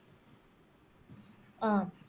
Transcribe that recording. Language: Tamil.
அஹ்